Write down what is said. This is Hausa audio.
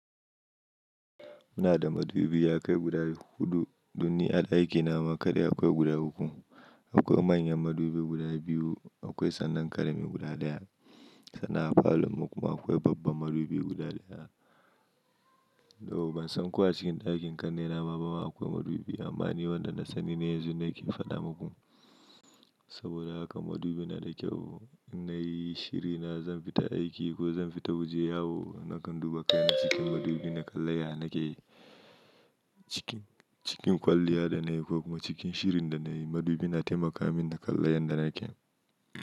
Ina da madubi yakai guda hudu don ni a ɗakina ma kadai akwai guda uku. Akwai manyan madubi guda biyu, akwai sannan ƙarami guda ɗaya. Sannan a falanmu kuma akwai babba madubi guda ɗaya. Though ban san ko a cikin ɗakin ƙannena ma in akwai madubi amma ni wanda na sani ne yanzu nake faɗa muku. Saboda haka madubi na da kyau. In nayi shirina zan fita aiki ko zan fita waje yawo nakan duba kai na cikin madubi na kalla ya nake. Cikin, cikin kwalliya da nayi ko kuma cikin shirin da nayi madubi na taimaka min da kalla yanda nake.